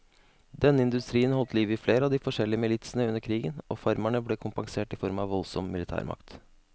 Denne industrien holdt liv i flere av de forskjellige militsene under krigen, og farmerne ble kompensert i form av voldsom militærmakt.